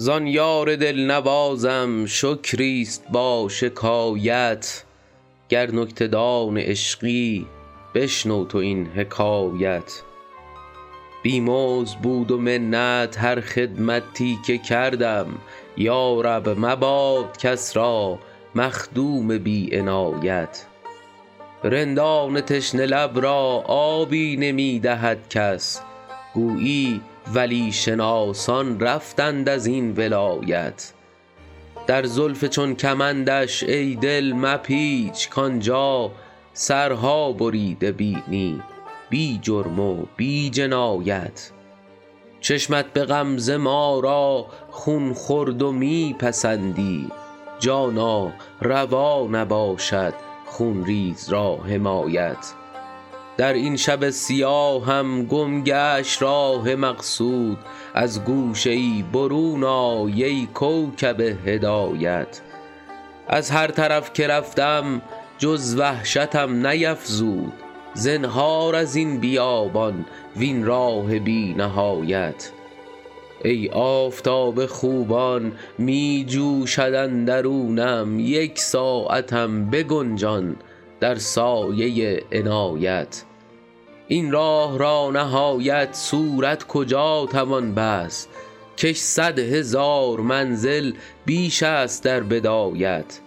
زان یار دل نوازم شکری است با شکایت گر نکته دان عشقی بشنو تو این حکایت بی مزد بود و منت هر خدمتی که کردم یا رب مباد کس را مخدوم بی عنایت رندان تشنه لب را آبی نمی دهد کس گویی ولی شناسان رفتند از این ولایت در زلف چون کمندش ای دل مپیچ کآن جا سرها بریده بینی بی جرم و بی جنایت چشمت به غمزه ما را خون خورد و می پسندی جانا روا نباشد خون ریز را حمایت در این شب سیاهم گم گشت راه مقصود از گوشه ای برون آی ای کوکب هدایت از هر طرف که رفتم جز وحشتم نیفزود زنهار از این بیابان وین راه بی نهایت ای آفتاب خوبان می جوشد اندرونم یک ساعتم بگنجان در سایه عنایت این راه را نهایت صورت کجا توان بست کش صد هزار منزل بیش است در بدایت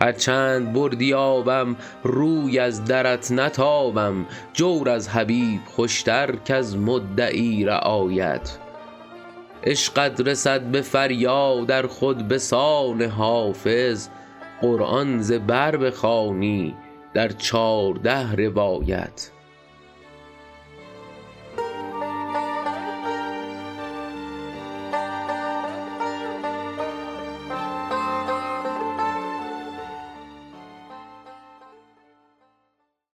هر چند بردی آبم روی از درت نتابم جور از حبیب خوش تر کز مدعی رعایت عشقت رسد به فریاد ار خود به سان حافظ قرآن ز بر بخوانی در چارده روایت